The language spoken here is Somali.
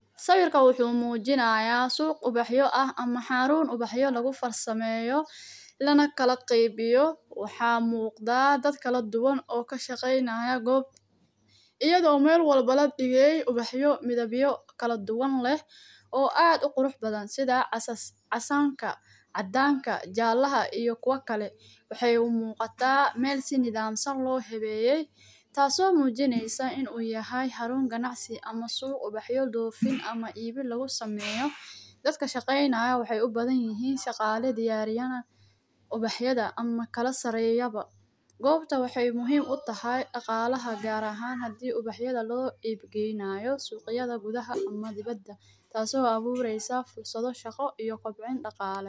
Sawirka wuxuu muujinaya suuq ubaxyo ah ama xarun ubaxyo lagu farsameyo lana kala qeybiyo, waxaa muuqdaa dad kala duwan oo kashaqeynaayo goob ayadoo meel walbo ladhigey ubaxyo midhabyo kaladuwan leh oo aad uqurux badan sidha casaanka, cadaanka, jaalaha iyo kuwa kale, waxay umuuqataa meel si nadhaamsan loo habeeyey taas oo muujineysaa inuu yahay xarun ganacsi ama suuq ubaxyo dhoofin ama iibin lagu sameeyo, dadka shaqeynaayo waxay ubadanyihin shaqaale diyaarinaayo ubaxyada ama kala sareyaba, goobta waxay muhiim utahay dhaqaalaha gaar ahaan hadii ubaxyada loo iib geynaayo suuqyada gudhaha aam dibada taas oo abuureysa fursado shaqo iyo kobcin dhaqaale.